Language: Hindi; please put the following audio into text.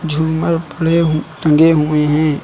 झूमर पड़े हु टंगे हुए हैं।